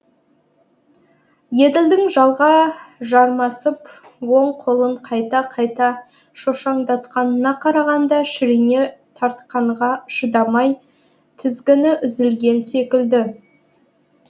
еділдің жалға жармасып оң қолын қайта қайта шошаңдатқанына қарағанда шірене тартқанға шыдамай тізгіні үзілген секілді